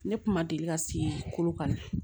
Ne kun ma deli ka se kolo kan